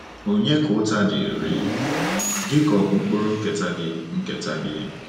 Ònye Ka Ụta Dịịrị — Gị Ka Ọ̀ Bụ Mkpụrụ Nketa Gị? Nketa Gị?